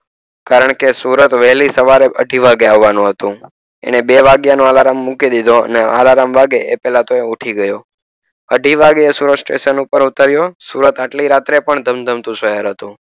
કારણ કે સુરત વહેલી સવારે અઢી વાગે આવવાનું હતું એને બે વાગીયા નું અલાર્મ મૂકી દીધું અને અલાર્મ વાગે એ પેલા તો ઉઠી ગયો અઢી વાગે સુરત સ્ટેશન ઉપર ઉતરિયો સુરત આટલી રાતે પણ ધમધમતું શહેર હતું.